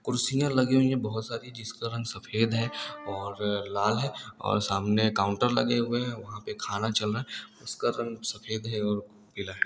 कुर्सियां लगी हुई हैं बहोत सारी। जिसका रंग सफ़ेद है और लाल है और सामने काउन्टर लगें हुऐ हैं। वहाॅं पे खाना चल रहा हैं। उसका रंग सफ़ेद है और पीला है।